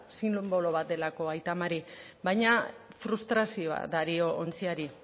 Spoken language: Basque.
sinbolo bat delako aita mari baina frustrazioa dario ontziari